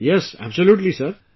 Yes, absolutely Sir